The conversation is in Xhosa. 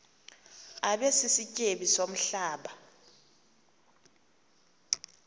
abe sisityebi somhlaba